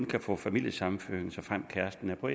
kan få familiesammenføring såfremt kæresten er på